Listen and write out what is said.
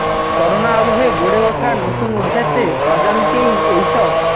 corona আবহে গড়ে ওঠা নতুন অভ্যাসে অজান্তেই এই সব